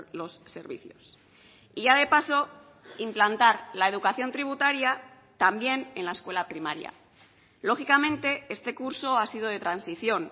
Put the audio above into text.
los servicios y ya de paso implantar la educación tributaria también en la escuela primaria lógicamente este curso ha sido de transición